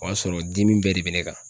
O y'a sɔrɔ dimi bɛɛ de bɛ ne kan.